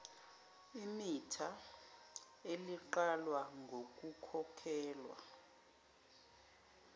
imitha eliqalwa ngokukhokhelwa